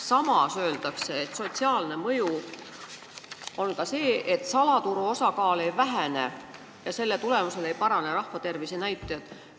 Samas öeldakse, et sotsiaalne mõju on ka see, et salaturu osakaal ei vähene ja selle tulemusel ei parane ka rahvatervise näitajad.